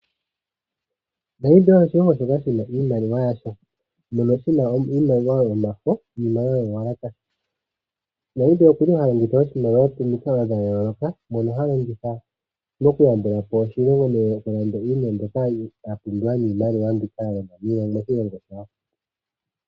Namibia osho oshilongo shoka shi na iimaliwa yasho. Mono shi na iimaliwa yomafo niimaliwa yomuwalakasha. Namibia oha longitha oshimaliwa she momikalo dha yooloka mbyono ha longitha mokuyambula po oshilongo nenge mokulanda iinima mbyoka ya pumbiwa niimaliwa mbyoka yomoshilongo shawo.